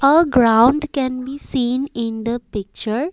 a ground can be seen in the picture.